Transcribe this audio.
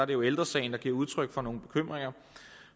det jo ældre sagen der giver udtryk for nogle bekymringer og